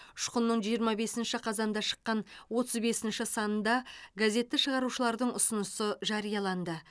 ұшқынның жиырма бесінші қазанда шыққан отыз бесінші санында газетті шығарушылардың ұсынысы жарияланды